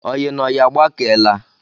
Oyi na oyi agbakeela